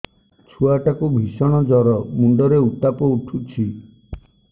ଛୁଆ ଟା କୁ ଭିଷଣ ଜର ମୁଣ୍ଡ ରେ ଉତ୍ତାପ ଉଠୁଛି